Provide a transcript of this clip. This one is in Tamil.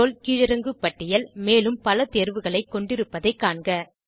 ரோல் கீழிறங்கு பட்டியல் மேலும் பல தேர்வுகளை கொண்டிருப்பதைக் காண்க